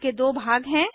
इसके दो भाग हैं